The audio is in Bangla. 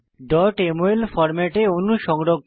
mol ফরম্যাটে অণু সংরক্ষণ করা